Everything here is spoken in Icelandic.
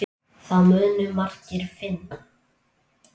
Það munu margir finna.